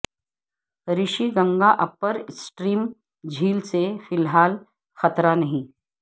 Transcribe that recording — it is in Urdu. رشی گنگا اپر اسٹریم جھیل سے فی الحال خطرہ نہیں